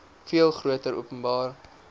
veel groter openbare